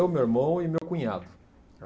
Eu, meu irmão e meu cunhado.